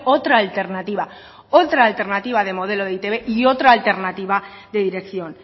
otra alternativa otra alternativa de modelo de e i te be y otra alternativa de dirección